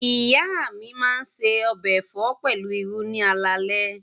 Ìyá mi máa se ọbẹ̀ ẹ̀fọ́ pẹ̀lú irú ni alaalẹ́.